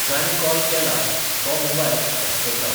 जांणी कॉल केला तो मोबायल हॅक करता.